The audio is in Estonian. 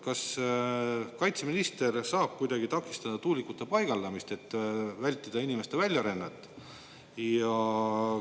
Kas kaitseminister saab kuidagi takistada tuulikute paigaldamist, et vältida inimeste väljarännet?